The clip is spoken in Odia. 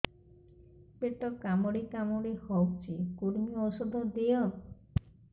ପେଟ କାମୁଡି କାମୁଡି ହଉଚି କୂର୍ମୀ ଔଷଧ ଦିଅ